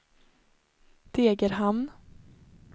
Degerhamn